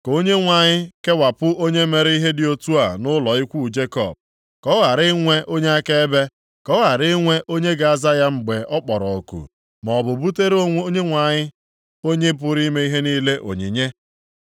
Ka Onyenwe anyị kewapụ onye mere ihe dị otu a nʼụlọ ikwu Jekọb, ka ọ ghara inwe onye akaebe, ka ọ ghara inwe onye ga-aza ya mgbe ọ kpọrọ oku maọbụ butere Onyenwe anyị, Onye pụrụ ime ihe niile onyinye.